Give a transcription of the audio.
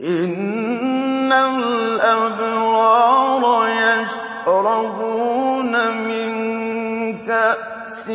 إِنَّ الْأَبْرَارَ يَشْرَبُونَ مِن كَأْسٍ